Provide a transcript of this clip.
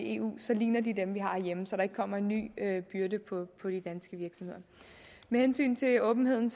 eu så ligner de dem vi har herhjemme så der ikke kommer en ny byrde på på de danske virksomheder med hensyn til åbenheden